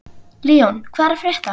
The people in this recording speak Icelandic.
Leon, hvað er að frétta?